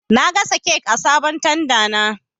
Na gasa kek a sabon tanda na